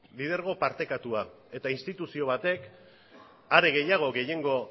lidergo partekatua eta instituzio batek are gehiago gehiengo